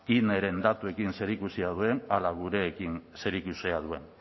ineren datuekin zerikusia duen ala gurekin zerikusia duen